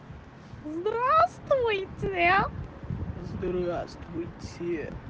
здравствуйте здравствуйте